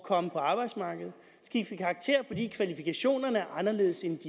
komme på arbejdsmarkedet skiftet karakter fordi kvalifikationerne er anderledes end